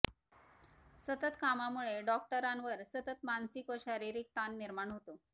सतत कामामुळे डॉक्टरांवर सतत मानसिक व शारीरिक ताण निर्माण होतो